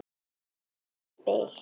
Unnið spil.